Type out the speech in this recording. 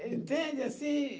Entende assim?